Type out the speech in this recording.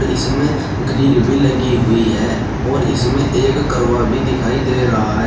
इसमें ग्रिल भी लगी हुई है और इसमें एक करवा भी दिखाई दे रहा है।